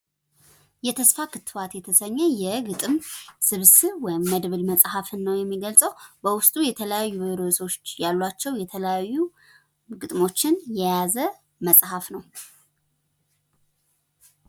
የተስፋ ክትባት የተሰኘ የግጥም ስብስብ ወይም መድብል መጽሃፍን ነው የሚገልጸው። በውስጡ የተለያዩ ርዕሶች ያላቸው የተለያዩ ግጥሞችን የያዘ መጽሃፍ ነው።